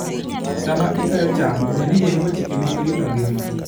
Sama ikayo cham, ne ni iluwo chike mag rito ngima.